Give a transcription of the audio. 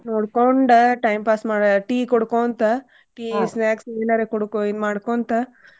ನೋಡ್ಕೊಂಡ time pass ಮಾಡಿ tea ಕುಡ್ಕೋಂತ tea, snacks ಏನಾರೆ ಕುಡುಕೊ ಇದ್ ಮಾಡ್ಕೊಂತ.